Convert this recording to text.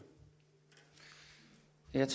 man